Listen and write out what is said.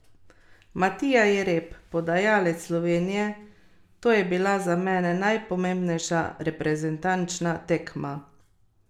Matija Jereb, podajalec Slovenije: "To je bila za mene najpomembnejša reprezentančna tekma.